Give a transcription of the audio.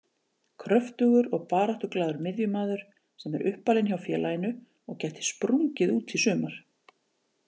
Kröftugur og baráttuglaður miðjumaður sem er uppalinn hjá félaginu og gæti sprungið út í sumar.